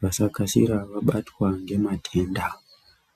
vasa kasira kunge vanobatwa ngematenda.